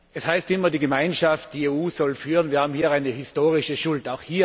Es heißt immer, die Gemeinschaft, die EU, soll führen, wir haben hier eine historische Schuld.